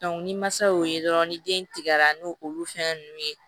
ni masa y'o ye dɔrɔn ni den tigɛra n'o olu fɛn nunnu ye